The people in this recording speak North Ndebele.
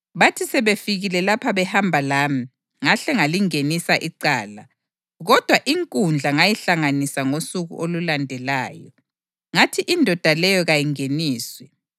Bathi sebefikile lapha behamba lami, ngahle ngalingenisa icala, kodwa inkundla ngayihlanganisa ngosuku olulandelayo, ngathi indoda leyo kayingeniswe.